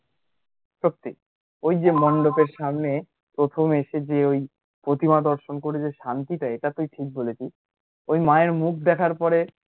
সত্যি ওই যে মণ্ডপের সামনে প্রথম এসে, ওই যে প্রতিমা দর্শন করে যে শান্তিটা, এটা তুই ঠিক বলেছিস ওই মায়ের মুখ দেখার পরে